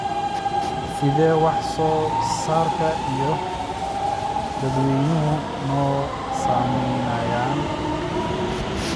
Sidee wax-soo-saarka iyo dadweynuhu noo saameeyaan?